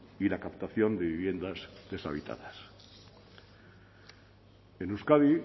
y la captación de viviendas deshabitadas en euskadi